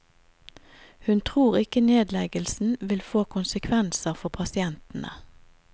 Hun tror ikke nedleggelsen vil få konsekvenser for pasientene.